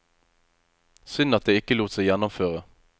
Synd at det ikke lot seg gjennomføre.